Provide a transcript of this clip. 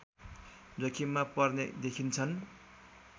जोखिममा पर्ने देखिन्छन्